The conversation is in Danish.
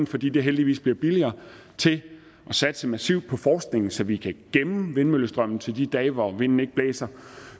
fordi det heldigvis bliver billigere til at satse massivt på forskningen så vi kan gemme vindmøllestrømmen til de dage hvor vinden ikke blæser